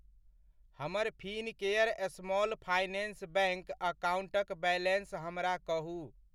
हमर Fincare small finance bank अकाउंटक balance हमरा कहू।